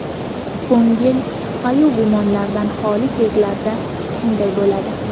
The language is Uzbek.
Ko‘ngil shubhayu gumondan xoli kezlarda shunday bo‘ladi.